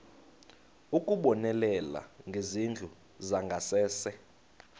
ukubonelela ngezindlu zangasese